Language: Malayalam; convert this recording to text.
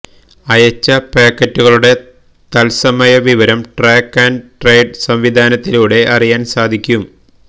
അയച്ച പാക്കറ്റുകളുടെ തത്സമയ വിവരം ട്രാക്ക് ആന്ഡ് ട്രെയ്സ് സംവിധാനത്തിലൂടെ അറിയാൻ സാധിക്കും